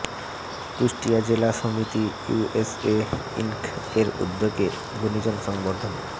কুষ্টিয়া জেলা সমিতি USA Inc এর উদ্যোগে গুনিজন সংবর্ধনা